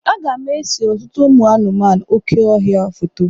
Aga m ese ọtụtụ ụmụ anụmanụ oké ọhịa foto.